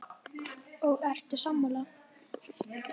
Kjartan Hreinn: Og ertu sammála?